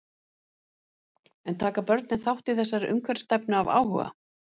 En taka börnin þátt í þessari umhverfisstefnu af áhuga?